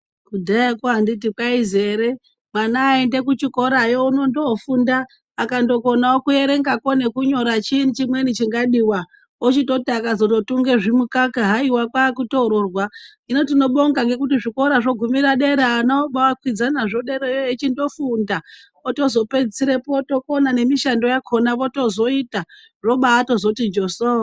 Kudhayakwo kwaizi anditi ere mwana eyiende kuchikorayo unondofunda akakonawo kunyora nekuerengakwo chiini chimweni chingadiwa. Ochitoti akazototunge zvimukaka haiwa kwakutomororwa. Hino tinobonga zvikora zvogumira dera ana obakwidza nazvo dera echindofunda otozopedzisirepo otokona nemishando yakona oyita zvochozobati njoso.